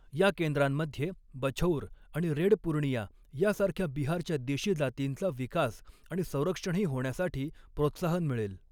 या केंद्रामध्ये बछौर आणि रेड पूर्णिया यासारख्या बिहारच्या देशी जातींचा विकास आणि संरक्षणही होण्यासाठी प्रोत्साहन मिळेल.